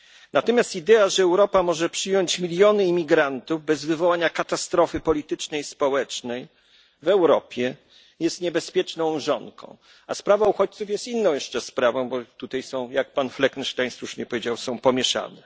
Natomiast idea, że Europa może przyjąć miliony imigrantów bez wywołania katastrofy politycznej i społecznej w Europie jest niebezpieczną mrzonką, a sprawa uchodźców jest inną jeszcze sprawą, a tutaj, jak pan Fleckenstein słusznie powiedział, są one pomieszane.